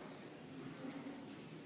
Hääletustulemused